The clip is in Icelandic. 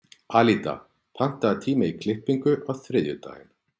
Alída, pantaðu tíma í klippingu á þriðjudaginn.